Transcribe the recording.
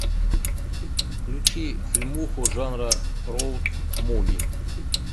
включи фильмуху жанра роуд муви